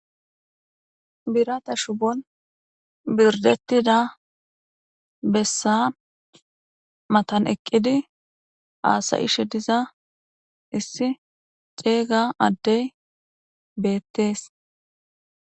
Birata shubon berdetida besa matan eqidi hasa'she diza isi c'ega adey betes.